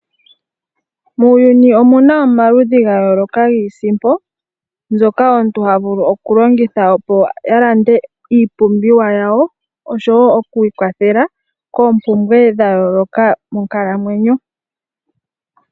Muuyuni omuna omaludhi ga yooloka giisimpo mbyoka omuntu ha longitha opo a wape a lande iipumbiwa yawo, osho wo oku ikwathela koompumbwe dha yooloka monkalamweyo.